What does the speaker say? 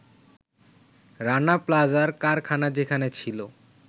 রানা প্লাজার কারখানা যেখানে ছিল